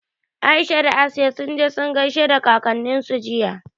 Aisha da Asiya sun je sun gaishe da kakanninsu jiya.